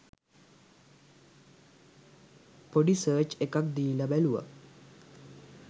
පොඩි සර්ච් එකක් දීල බැලුව